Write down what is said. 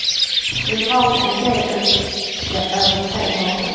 Nu drar ju en del ut det över tre dagar.